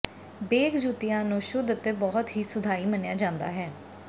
ਬੇਗ ਜੁੱਤੀਆਂ ਨੂੰ ਸ਼ੁੱਧ ਅਤੇ ਬਹੁਤ ਹੀ ਸੁਧਾਈ ਮੰਨਿਆ ਜਾਂਦਾ ਹੈ